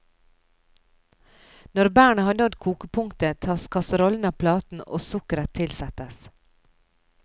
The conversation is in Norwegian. Når bærene har nådd kokepunktet, tas kasserollen av platen og sukkeret tilsettes.